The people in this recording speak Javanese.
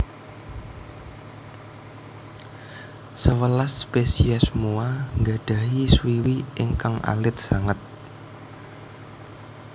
Sewelas spésiés Moa nggadhahi swiwi ingkang alit sanget